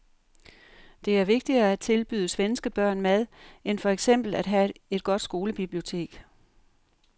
Det er vigtigere at tilbyde svenske børn mad end for eksempel at have et godt skolebibliotek.